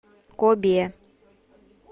кобе